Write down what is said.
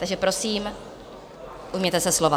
Takže prosím, ujměte se slova.